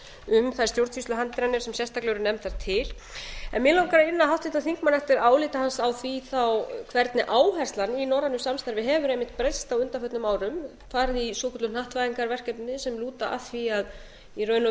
um þær stjórnsýsluhindranir sem sérstaklega eru nefndar til mig langar að inna háttvirtan þingmann eftir áliti hans á því hvernig áherslan í norrænu samstarfi hefur einmitt breyst á undanförnum árum farið í svokölluð hnattvæðingarverkefni sem lúta að því að í raun og